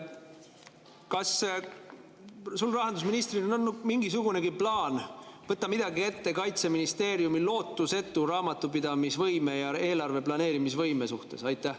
Kas sul rahandusministrina on mingisugunegi plaan võtta midagi ette Kaitseministeeriumi lootusetu raamatupidamisvõime ja eelarve planeerimise võime parandamiseks?